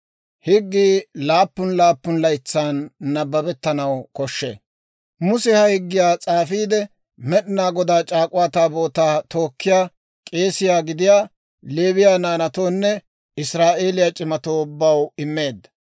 Muse ha higgiyaa s'aafiide, Med'inaa Godaa C'aak'uwaa Taabootaa tookkiyaa k'eese gidiyaa Leewiyaa naanatoonne Israa'eeliyaa c'imatoo ubbaw immeedda.